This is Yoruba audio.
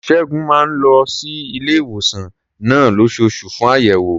Ṣẹ́gun máa ń lọ sí ilé-ìwòsàn náà lóṣooṣù fún àyẹ̀wò.